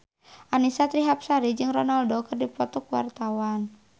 Annisa Trihapsari jeung Ronaldo keur dipoto ku wartawan